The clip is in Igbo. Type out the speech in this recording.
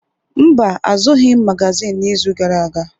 Mba, azụrụghị m magazin n’izu gara aga.